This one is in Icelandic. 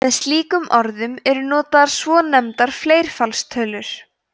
með slíkum orðum eru notaðar svonefndar fleirfaldstölur